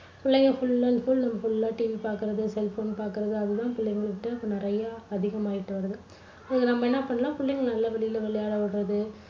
புள்ளைங்க full and full full ஆ TV பார்க்கறது cell phone பாக்கறது அது தான் புள்ளைங்ககிட்ட இப்போ நிறைய அதிகமாகிட்டு வருது. அதுக்கு நம்ப என்ன பண்ணலாம் புள்ளைங்களை நல்லா வெளியில விளையாட விடறது